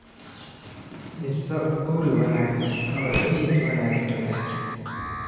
Dhiso guri wanaagsan oo ciid wanaagsan leh.